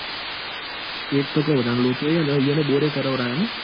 એજ તો કૌ તન લોચો એજ યેઓન બોર એ કરવરાયો ન?